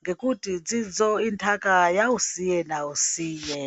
ngekuti dzidzo intaka yausiye nausiye.